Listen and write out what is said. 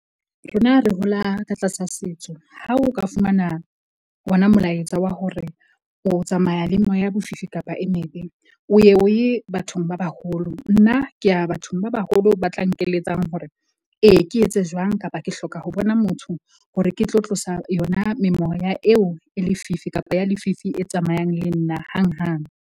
Rona re hola ka tlasa setso. Ha o ka fumana ona molaetsa wa hore o tsamaya le moya ya bofifi kapa e mebe, o ya o ye bathong ba baholo. Nna ke ya bathong ba baholo ba tla nkeletsang hore, ee ke etse jwang kapa ke hloka ho bona motho hore ke tlo tlosa yona memoya eo e lefifi kapa ya lefifi e tsamayang le nna hang hang.